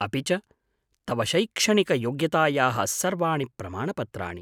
अपि च तव शैक्षणिकयोग्यतायाः सर्वाणि प्रमाणपत्राणि।